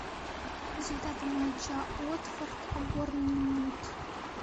результаты матча уотфорд борнмут